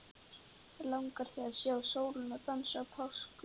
Langar þig að sjá sólina dansa á páskum?